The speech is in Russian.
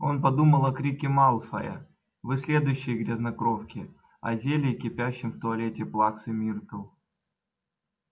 он подумал о крике малфоя вы следующие грязнокровки о зелье кипящем в туалете плаксы миртл